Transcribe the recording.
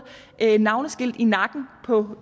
navnskilt i nakken på